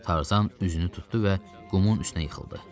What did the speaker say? Tarzan üzünü tutdu və qumun üstünə yıxıldı.